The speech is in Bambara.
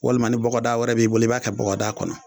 Walima ni bɔgɔdaa wɛrɛ b'i bolo b'a kɛ bɔgɔdaa kɔnɔ